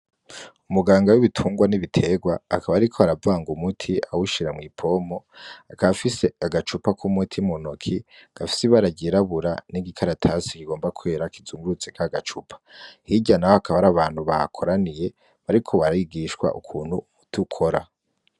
Umuganga w'ibitungwa n'ibiterwa akaba ariko aravanga umuti awushira mw'ipompo, akaba afise agacupa k'umuti mu ntoki gafise ibara ryirabura n'igikaratasi kigomba kwera kizungurutse kagacupa, hirya naho hakaba hari abantu bahakoraniye bariko barigishwa ukuntu umuti ukora.